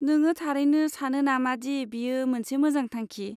नोंङो थारैनो सानो नामादि बेयो मोनसे मोजां थांखि?